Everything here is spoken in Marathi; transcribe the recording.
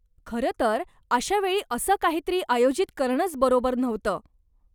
खरंतर अशा वेळी असं काहीतरी आयोजित करणंच बरोबर नव्हतं.